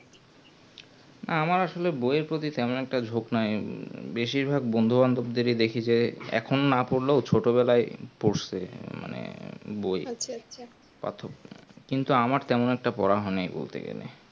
আমার আসলে বই এর পতি তেমন একটা ঝোক নাই বেশিরভাগ বন্ধুবান্ধব দে দেখি যে এখন না পড়লেও ছোট বেলায় পরশে মানে বই পাঠক কিন্তু আমার তেমন একটা পড়া হয়নি বলতে গেলে